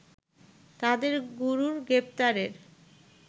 তাদের গুরুর গ্রেফতারের